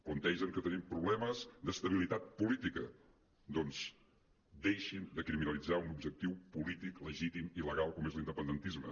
plantegen que tenim problemes d’estabilitat política doncs deixin de criminalitzar un objectiu polític legítim i legal com és l’inde·pendentisme